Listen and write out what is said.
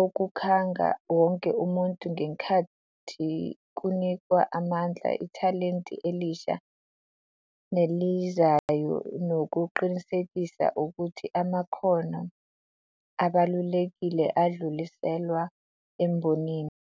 okukhanga wonke umuntu ngenkathi kunikwa amandla ithalente elisha nelizayo nokuqinisekisa ukuthi amakhono abalulekile adluliselwa embonini.